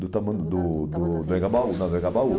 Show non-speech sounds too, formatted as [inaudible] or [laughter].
Do [unintelligible] do do do Engabaú, né, do Engabaú.